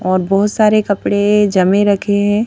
और बहोत सारे कपड़े जमे रखे हैं.